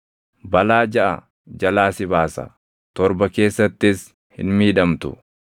Balaa jaʼa jalaa si baasa; torba keessattis hin miidhamtu.